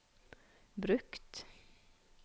brukt